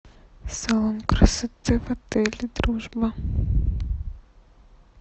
салон красоты в отеле дружба